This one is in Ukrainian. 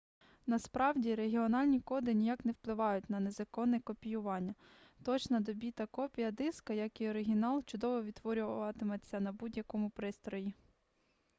насправді регіональні коди ніяк не впливають на незаконне копіювання точна до біта копія диска як і оригінал чудово відтворюватиметься на будь-якому пристрої